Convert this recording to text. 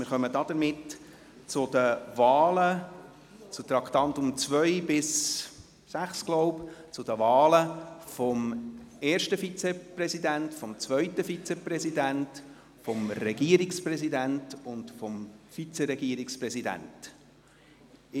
Somit kommen wir gemäss den Traktanden 2–6 zu den Wahlen – des ersten Vizepräsidenten, des zweiten Vizepräsidenten, des Regierungspräsidenten und des Regierungsvizepräsidenten.